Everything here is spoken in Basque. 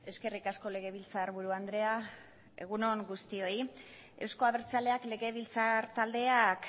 eskerrik asko legebiltzarburu andrea egun on guztioi euzko abertzaleak legebiltzar taldeak